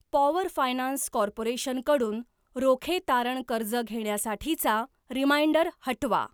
Power finance corporation कडून रोखे तारण कर्ज घेण्यासाठीचा रिमाइंडर हटवा.